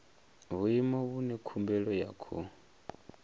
vhuimo vhune khumbelo ya khou